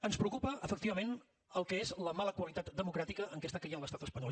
ens preocupa efectivament el que és la mala qualitat democràtica en què està caient l’estat espanyol